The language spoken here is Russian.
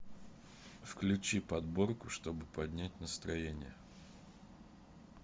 включи подборку чтобы поднять настроение